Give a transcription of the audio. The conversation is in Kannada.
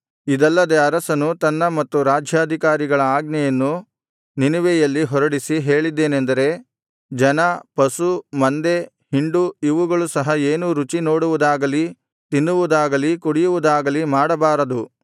ಇದಲ್ಲದೆ ಅರಸನು ತನ್ನ ಮತ್ತು ರಾಜ್ಯಾಧಿಕಾರಿಗಳ ಆಜ್ಞೆಯನ್ನು ನಿನೆವೆಯಲ್ಲಿ ಹೊರಡಿಸಿ ಹೇಳಿದ್ದೇನೆಂದರೆ ಜನ ಪಶು ಮಂದೆ ಹಿಂಡು ಇವುಗಳು ಸಹ ಏನೂ ರುಚಿ ನೋಡುವುದಾಗಲೀ ತಿನ್ನುವುದಾಗಲೀ ಕುಡಿಯುವುದಾಗಲೀ ಮಾಡಬಾರದು